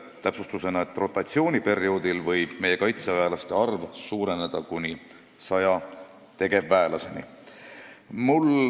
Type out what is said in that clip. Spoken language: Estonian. Täpsustusena, et rotatsiooniperioodil võib meie kaitseväelaste arv suureneda kuni 100 tegevväelaseni.